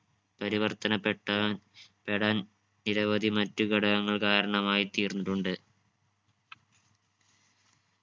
പരിവർത്തനപ്പെട്ട പെടാൻ നിരവധി മറ്റു ഘടകങ്ങൾ കാരണമായി തീർന്നിട്ടുണ്ട്